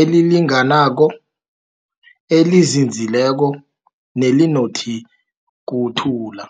elilinganako, elinzinzileko nelinokuthula.